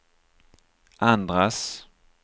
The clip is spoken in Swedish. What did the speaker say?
andras